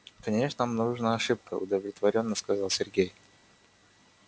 конечно обнаружена ошибка удовлетворённо сказал сергей